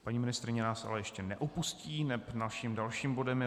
Paní ministryně nás ale ještě neopustí, neb naším dalším bodem je